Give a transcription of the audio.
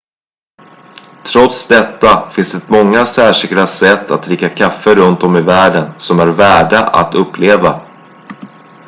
trots detta finns det många särskilda sätt att dricka kaffe runt om i världen som är värda att uppleva